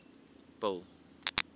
bill